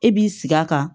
E b'i sigi a kan